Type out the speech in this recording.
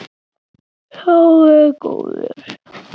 Sá er góður.